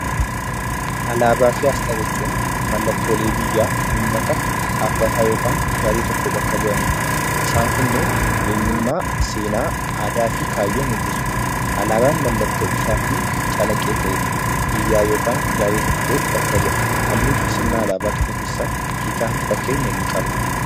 Alaabaa fi asxaa jechuun mallattoolee biyyaa, uummataa dhaabbata yookiin garee tokko bakka bu'anidha. Isaan kunneen eenyummaa, aadaa, seenaa fi kaayyoo mul'isu. Alaabaan mallattoo ifaa fi callaqqee ta'edha. Biyyaa yookiin garee tokko bakka bu'a. Halluun alaabaa keessaa hiikaa mataa isaa ni qaba.